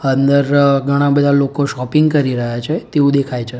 અંદર ઘણા બધા લોકો શોપિંગ કરી રહ્યા છે તેવુ દેખાય છે.